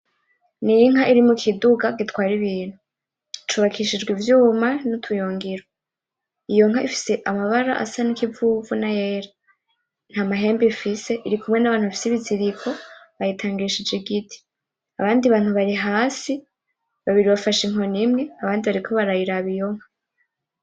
N'inka iri mu kidugu gitwara ibintu, cubakishijwe ivyuma; n'utuyungiro, iyo nka ifise amabara asa n'ikivu; n'ayera, nta mahembe ifise irikumwe n'abantu bafise ibiziriko bayitangishije igiti, abandi bantu bari hasi babiri bafashe inkoni imwe; abandi bariko barayiraba iyo nka.